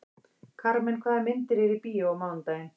Karmen, hvaða myndir eru í bíó á mánudaginn?